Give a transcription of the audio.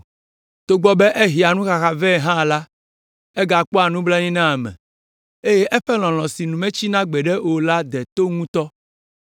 Togbɔ be ehea nuxaxa vɛ hã la, egakpɔa nublanui na ame, eye eƒe lɔlɔ̃ si nu metsina gbeɖe o la de to ŋutɔ.